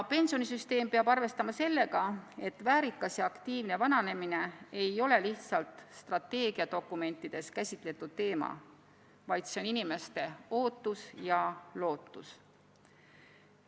Pensionisüsteem peab arvestama sellega, et väärikas ja aktiivne vananemine ei ole lihtsalt strateegiadokumentides käsitletud teema, vaid see on inimeste ootus ja lootus.